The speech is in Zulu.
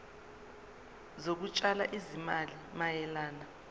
zokutshala izimali mayelana